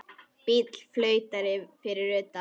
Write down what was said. Bíll flautar fyrir utan.